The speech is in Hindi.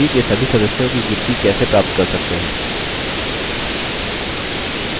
how librarry के सभी सदस्यों की गिनती कैसे प्राप्त कर सकते हैं